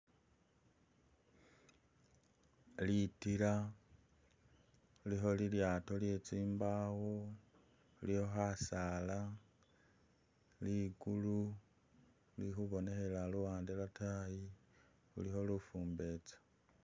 Litila lilikho lilyato lye tsimbawo iliyo khasaala, liguulu , lili khubonekhela luwande lwotayi khulikho lufumbetsu.